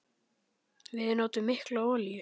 Við notum mikla olíu.